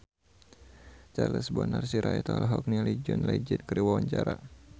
Charles Bonar Sirait olohok ningali John Legend keur diwawancara